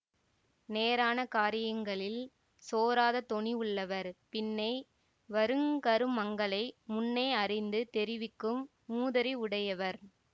நேரான காரியங்களில் சோராத துணிவுள்ளவர் பின்னே வருங்கருமங்களை முன்னே அறிந்து தெரிவிக்கும் மூதறிவுடையவர்